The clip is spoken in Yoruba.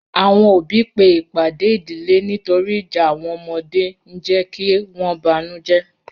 Awọn ọbí pe ipàdè ìdílẹ̀ nítòrì ìjà awọn ọmọdè n jẹ̀ kí wọn bánújẹ̀